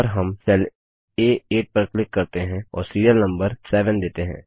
और हम सेल आ8 पर क्लिक करते हैं और सिरिअल नम्बर 7 देते हैं